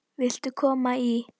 Viltu koma í?